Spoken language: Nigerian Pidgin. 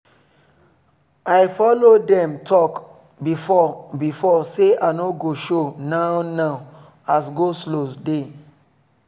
i follow dem talk befiore before say i no go show now now as go-slow dey